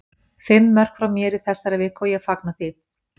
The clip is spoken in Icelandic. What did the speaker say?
Fimm mörk frá mér í þessari viku og ég fagna því.